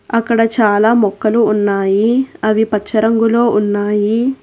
అక్కడ చాలా మొక్కలు ఉన్నాయి. అవి పచ్చ రంగులో ఉన్నాయి.